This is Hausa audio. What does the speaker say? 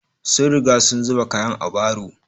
Sun riga sun zuba kayan a baro